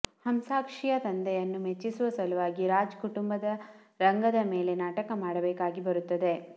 ಹಂಸಾಕ್ಷಿಯ ತಂದೆಯನ್ನು ಮೆಚ್ಚಿಸುವ ಸಲುವಾಗಿ ರಾಜ್ ಕುಟುಂಬ ರಂಗದ ಮೇಲೆ ನಾಟಕ ಮಾಡಬೇಕಾಗಿ ಬರುತ್ತದೆ